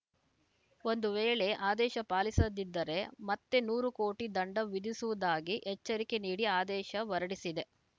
ಒಂದು ವೇಳೆ ಆದೇಶ ಪಾಲಿಸದಿದ್ದರೆ ಮತ್ತೆ ನೂರು ಕೋಟಿ ದಂಡ ವಿಧಿಸುವುದಾಗಿ ಎಚ್ಚರಿಕೆ ನೀಡಿ ಆದೇಶ ಹೊರಡಿಸಿದೆ